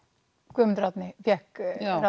Guðmundur Árni fékk